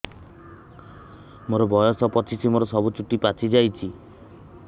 ମୋର ବୟସ ପଚିଶି ମୋର ସବୁ ଚୁଟି ପାଚି ଯାଇଛି